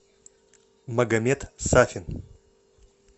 магомед сафин